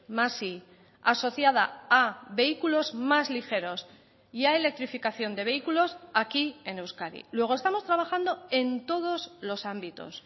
más i asociada a vehículos más ligeros y a electrificación de vehículos aquí en euskadi luego estamos trabajando en todos los ámbitos